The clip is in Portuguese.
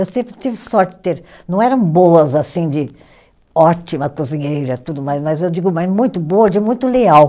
Eu sempre tive sorte de ter. Não eram boas, assim, de ótima cozinheira e tudo mais, mas eu digo, mas muito boa, de muito leal.